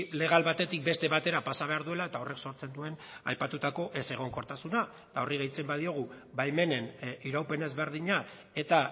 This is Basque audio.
legal batetik beste batera pasa behar duela eta horrek sortzen du aipatutako ezegonkortasuna eta horri gehitzen badiogu baimenen iraupen ezberdina eta